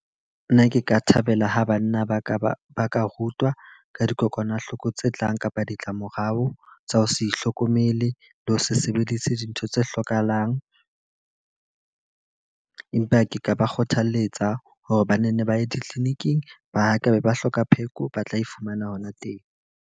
Nna ke ka thabela ha banna ba ka ba ba ka rutwa ka dikokwanahloko tse tlang, kapa ditlamorao tsa ho sa ihlokomele le ho se sebeditse dintho tse hlokahalang. Empa ke ka ba kgothaletsa hore bane nne ba ye di-clinic-ing ba tlabe ba hloka pheko ba tla e fumana hona teng.